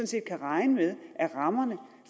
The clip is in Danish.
set kan regne med at rammerne